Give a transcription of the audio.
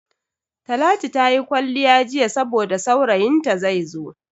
Talatu ta yi kwalliya jiya saboda saurayin ta zaizo.